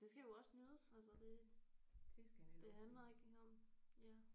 Det skal jo også nydes altså det det handler ikke om ja